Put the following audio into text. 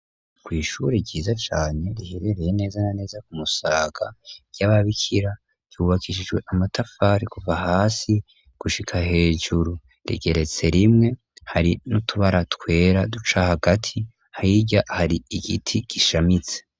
Kw' ishure ryiza cane riherereye neza na neza ku musaga ry'ababikira ryubakishijwe amatafari kuva hasi gushika hejuru rigeretse rimwe hari n'utubara twera duca hagati hirya hari igiti gishamitse.